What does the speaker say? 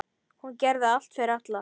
Hún gerði allt fyrir alla.